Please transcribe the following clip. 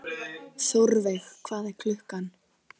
Þórveig, hvað er klukkan?